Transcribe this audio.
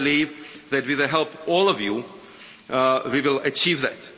And I believe that, with the help of all of you, we will achieve that.